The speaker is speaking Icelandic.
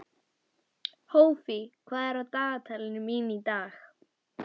Ég ætla að lesa bréfin þín því þau gleðja mig.